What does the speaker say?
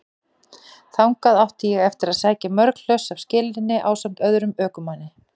Þangað átti ég eftir að sækja mörg hlöss af skelinni ásamt öðrum ökumanni.